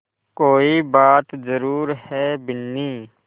कोई बात ज़रूर है बिन्नी